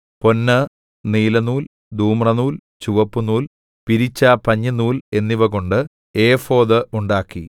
പൊന്ന് നീലനൂൽ ധൂമ്രനൂൽ ചുവപ്പുനൂൽ പിരിച്ച പഞ്ഞിനൂൽ എന്നിവകൊണ്ട് ഏഫോദ് ഉണ്ടാക്കി